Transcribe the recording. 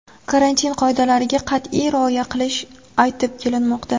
karantin qoidalariga qat’iy rioya qilish aytib kelinmoqda.